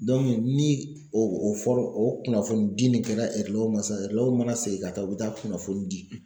ni o o fɔra o kunnafoni di nin kɛla erelɛw ma sisan erelɛw mana segin ka taa u bi taa kunnafoni di.